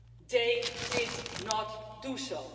They did not do so.